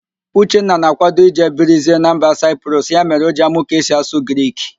Uchenna na-ákwádo ije birizie na mba Saịprọs, ya mere O ji amụ ka esi asụ Grik.